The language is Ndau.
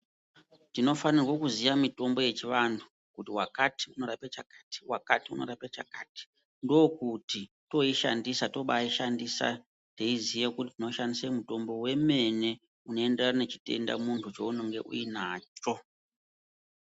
Tinofanirwa kuziya mitombo yechivantu kuti wakati unorape chakati, wakati unorape chakati. Ndookuti toishandisa tobaaishandisa teiziye kuti tinoshandisa mutombo wemene, unoenderana nechitenda muntu chounenge uinacho.